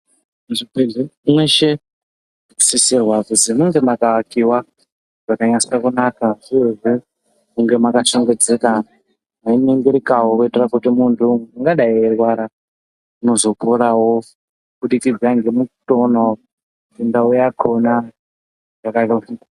Zvibhedhlera meshe nosisirwa kuzi munge makaakiwa zvakanyase kunaka uyehe munge makashongedzeka meiningirika wo wazopinde murwere ungadai eirwara kuti azoponawo kubudikidza ngemukona imba yakhona yakara.